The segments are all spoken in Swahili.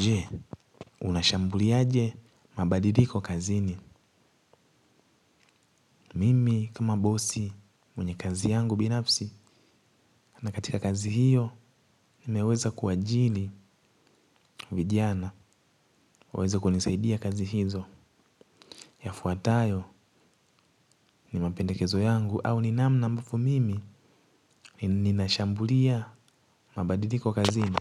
Je, unashambuliaje mabadiliko kazini. Mimi kama bosi mwenye kazi yangu binafsi, na katika kazi hiyo, nimeweza kuwaajiri vijana, waweze kunisaidia kazi hizo. Yafuatayo ni mapendekezo yangu au ni namna ambavyo mimi, ninashambulia mabadiliko kazini.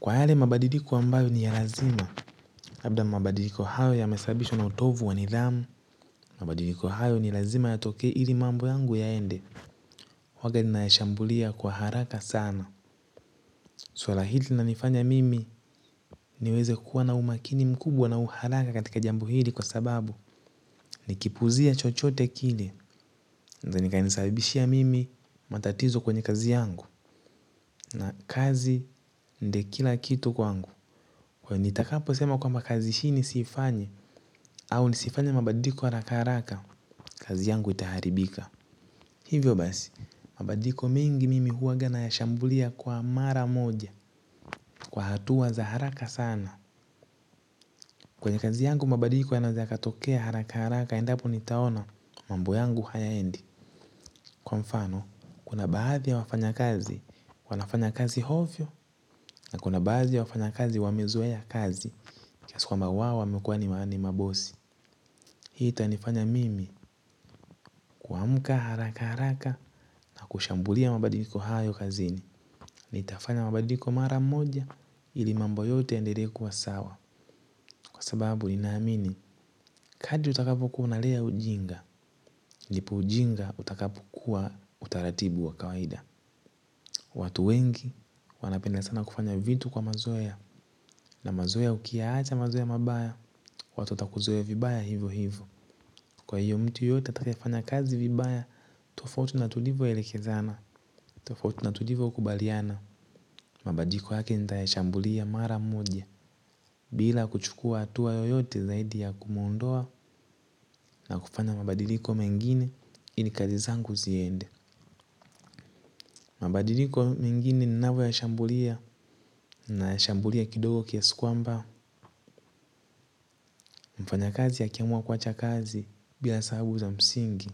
Kwa yale mabadiliko ambayo ni ya lazima, labda mabadiliko hayo yamesababishwa na utovu wa nidhamu, mabadiliko hayo ni lazima yatoke ili mambo yangu yaende. Huaga ninayashambulia kwa haraka sana. Swala hili linanifanya mimi niweze kuwa na umakini mkubwa na uhalali katika jambo hili kwa sababu nikipuuzia chochote kile kinaeza kikanisabishia mimi matatizo kwenye kazi yangu. Na kazi ndio kila kitu kwangu. Kwa nitakaposema kwamba kazi hii nisiifanye. Au nisifanye mabadiliko haraka haraka. Kazi yangu itaharibika. Hivyo basi mabadiliko mengi mimi huaga nayashambulia kwa mara moja. Kwa hatua za haraka sana. Kwenye kazi yangu mabadiliko yanaweza yakatokea harakaharaka endapo nitaona mambo yangu hayaendi. Kwa mfano, kuna baadhi ya wafanyakazi. Wanafanya kazi ovyo, na kuna baadhi ya wafanyakazi wamezoea kazi kiasi kwamba wao wamekuwa ni mabosi. Hii itanifanya mimi kuamka haraka haraka na kushambulia mabadiliko hayo kazini. Nitafanya mabadiliko mara moja. Ili mambo yote yaendelee kuwa sawa. Kwa sababu ninaamini kadri utakapokuwa unalea ujinga, ndipo ujinga utakapokuwa utaratibu wa kawaida. Watu wengi wanapenda sana kufanya vitu kwa mazoea. Na mazoea ukiyaacha mazoea mabaya, watu watakuzoea vibaya hivyohivyo. Kwa hiyo mtu yote atakayefanya kazi vibaya, tofautu na tulivyoelekezana, tofautu na tulivyokubaliana. Mabadiliko yake nitayashambulia mara moja, bila kuchukua hatua yoyote zaidi ya kumuondoa na kufanya mabadiliko mengine, ili kazi zangu ziende. Mabadiliko mengine ninavyoyashambulia. Nayashambulia kidogo kiasi kwamba mfanyakazi akiamua kuacha kazi bila sababu za msingi.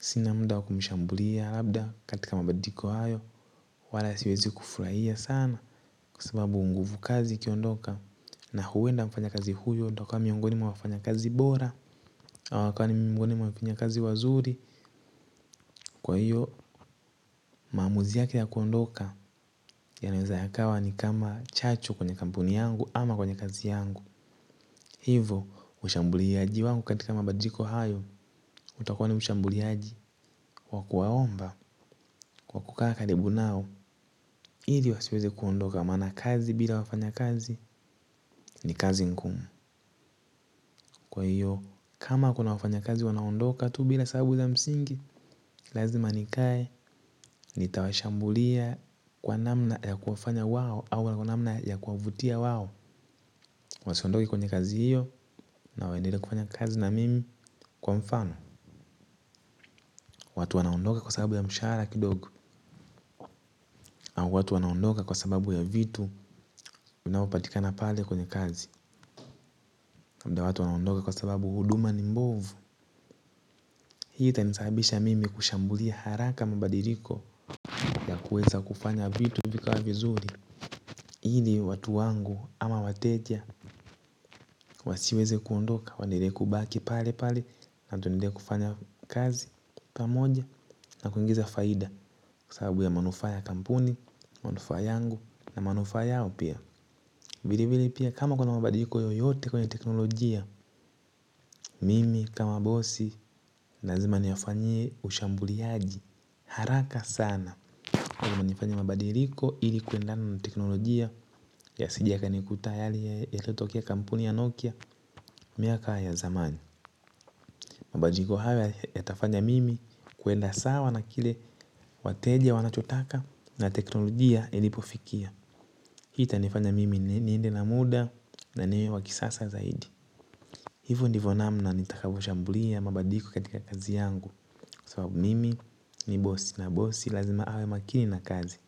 Sina muda wa kumshambulia. Labda katika mabadiliko hayo wala siwezi kufurahia sana kwa sababu nguvu kazi ikiondoka na huenda mfanyakazi huyo ndo kuwa miongoni mwa wafanyakazi bora akawe ni miongoni mwa wafanyakazi wazuri. Kwa hiyo maamuzi yake ya kuondoka. Yanaweza yakawa ni kama chachu kwenye kampuni yangu ama kwenye kazi yangu. Hivo ushambuliaji wangu katika mabadiliko hayo. Utakuwa ni ushambuliaji wa kuwaomba kwa kukaa karibu nao ili wasiweze kuondoka maana kazi bila wafanyakazi ni kazi ngumu. Kwa hiyo kama kuna wafanyakazi wanaoondoka tu bila sababu za msingi. Lazima nikae nitawashambulia kwa namna ya kuwafanya wao au wala kwa namna ya kuwavutia wao wasiondoke kwenye kazi hiyo na waendelee kufanya kazi na mimi kwa mfano. Watu wanaondoka kwa sababu ya mshahara kidogo. Au watu wanaondoka kwa sababu ya vitu vinavyopatikana pale kwenye kazi. Na muda watu wanaondoka kwa sababu huduma ni mbovu. Hii itanisababisha mimi kushambulia haraka mabadiliko ya kuweza kufanya vitu vikawa vizuri ili watu wangu ama wateja wasiweze kuondoka waendelee kubaki pale pale na tuendelee kufanya kazi pamoja na kuingiza faida. Kwa sababu ya manufaa ya kampuni, manufaa yangu na manufaa yao pia. Vilevile pia kama kuna mabadiliko yoyote kwenye teknolojia. Mimi kama bosi lazima niyafanyie ushambuliaji haraka sana. Kwa kama nifanya mabadiliko ili kuendana na teknolojia. Yasije yakanikuta yale yaliyotokea kampuni ya Nokia miaka ya zamani. Mabadiliko hayo yatafanya mimi kuenda sawa na kile wateja wanachotaka na teknolojia ilipofikia. Hii itanifanya mimi niende na muda na niwe wa kisasa zaidi. Hivo ndivo namna nitakavyoshambulia mabadiliko katika kazi yangu. Sababu mimi ni bosi na bosi lazima awe makini na kazi.